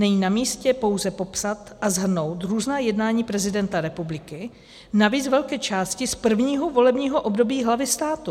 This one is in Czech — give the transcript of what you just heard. Není namístě pouze popsat a shrnout různá jednání prezidenta republiky, navíc z velké části z prvního volebního období hlavy státu.